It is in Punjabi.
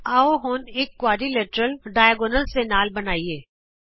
ਆਉ ਹੁਣ ਵਿਕਰਣ ਦੇ ਨਾਲ ਚਤੁਰਭੁਜ ਬਣਾਉਂਦੇ ਹਾਂ